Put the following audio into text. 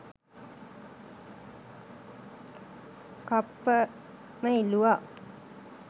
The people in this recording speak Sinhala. කප්පම ඉල්ලුවා